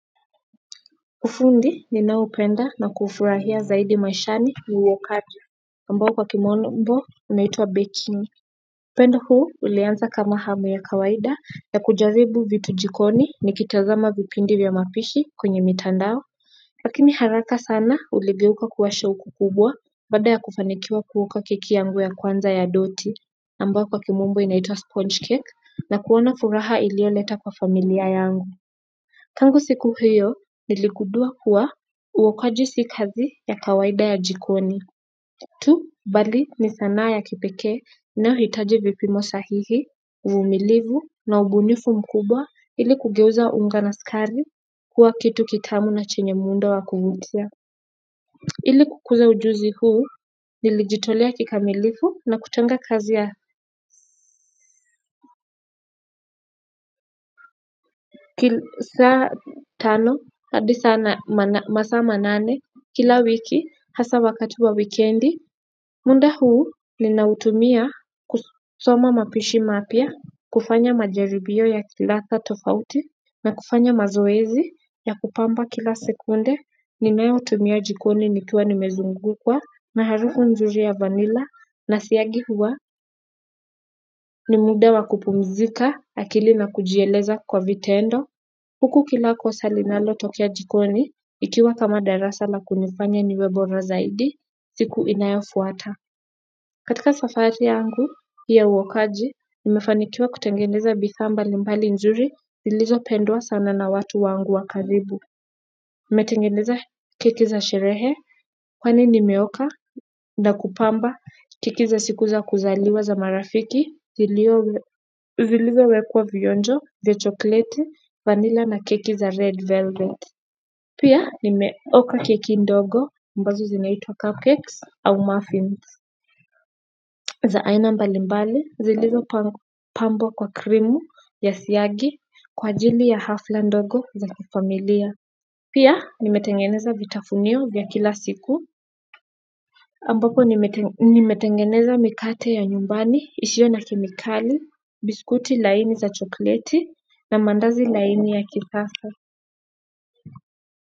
Ufundi ninaopenda na kufurahia zaidi maishani ni uwokaji ambao kwa kimombo inaitwa baking upendo huu ulianza kama hamu ya kawaida ya kujaribu vitu jikoni, nikitazama vipindi vya mapishi kwenye mitandao lakini haraka sana uligeuka kuwa shauku kubwa baada ya kufanikiwa kuoka keki yangu ya kwanza ya doti ambayo kwa kimombo inaitwa sponge cake na kuona furaha iliyoleta kwa familia yangu tangu siku hiyo niligundua kuwa uokaji si kazi ya kawaida ya jikoni tu, bali ni sanaa ya kipekee inayohitaji vipimo sahihi, uvumilivu na ubunifu mkubwa ili kugeuza unga na sukari kuwa kitu kitamu na chenye muundo wa kuvutia. Ili kukuza ujuzi huu, nilijitolea kikamilifu na kutenga kazi ya saa tano hadi masaa manane kila wiki hasa wakati wa wikendi muda huu ninautumia kusoma mapishi mapya, kufanya majaribio ya kiladha tofauti na kufanya mazoezi ya kupamba kila sekunde. Ninayotumia jikoni nikiwa nimezungukwa na harufu nzuri ya vanila na siagi huwa ni muda wa kupumzika akili na kujieleza kwa vitendo. Huku kila kosa linalotokea jikoni ikiwa kama darasa la kunifanya niwe bora zaidi siku inayofuata. Katika safari yangu ya uokaji, nimefanikiwa kutengeneza bidhaa mbalimbali nzuri zilizopendwa sana na watu wangu wa karibu. Nimetengeneza keki za sherehe, kwani nimeoka na kupamba keki za siku za kuzaliwa za marafiki, zilizowekwa vionjo vya chokoleti, vanila na keki za red velvet. Pia nimeoka keki ndogo, ambazo zinaitwa cupcakes au muffins. Za aina mbalimbali zilizopambwa kwa krimu ya siagi kwa ajili ya hafla ndogo za kifamilia. Pia nimetengeneza vitafunio vya kila siku ambapo nimetengeneza mikate ya nyumbani isiyo na kemikali, biskuti laini za chokoleti, na mandazi laini ya kisasa.